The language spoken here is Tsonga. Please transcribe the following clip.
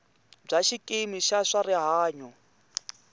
bya xikimi xa swa rihanyo